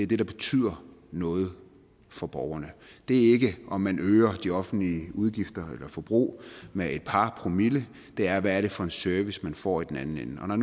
det der betyder noget for borgerne det er ikke om man øger de offentlige udgifter eller forbrug med et par promille det er hvad det er for en service man får i den anden ende og når